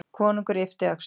Konungur yppti öxlum.